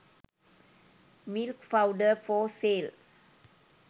milk powder for sale